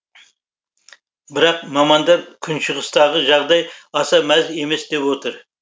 бірақ мамандар күншығыстағы жағдай аса мәз емес деп отыр